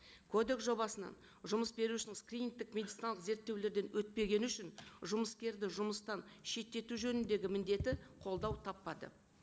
кодекс жобасынан жұмыс берушінің скринингтік медициналық зерттеулерден өтпегені үшін жұмыскерді жұмыстан шеттету жөніндегі міндеті қолдау таппады